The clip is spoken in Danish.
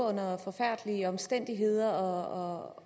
under forfærdelige omstændigheder og